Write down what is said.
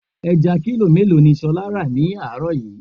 Ẹja kílò mélòó ni ṣolá ra ni àárọ̀ yìí?